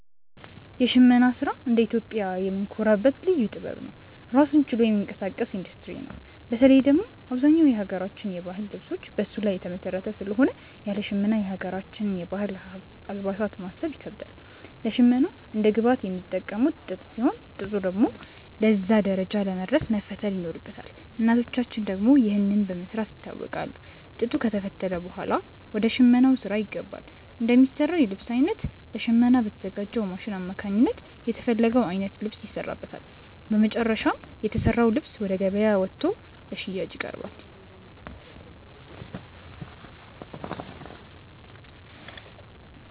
የሽመና ስራ እንደ ኢትዮጵያዊ የምንኮራበት ልዩ ጥበብ ነው። ራሱን ችሎ የሚንቀሳቀስ ኢንዱስትሪ ነው። በተለይ ደግሞ አብዛኛው የሀገራችን የባህል ልብሶች በሱ ላይ የተመሰረተ ስለሆነ ያለ ሽመና የሀገራችንን የባህል አልባሳት ማሰብ ይከብዳል። ለሽመና እንደ ግብአት የሚጠቀሙት ጥጥ ሲሆን፣ ጥጡ ደግሞ ለዛ ደረጃ ለመድረስ መፈተል ይኖርበታል። እናቶቻችን ደግሞ ይህንን በመስራት ይታወቃሉ። ጥጡ ከተፈተለ ብኋላ ወደ ሽመናው ስራ ይገባል። እንደሚሰራው የልብስ አይነት ለሽመና በተዘጋጅው ማሽን አማካኝነት የተፈለገው አይነት ልብስ ይሰራበታል። በመጨረሻም የተሰራው ልብስ ወደ ገበያ ወጥቶ ለሽያጭ ይቀርባል።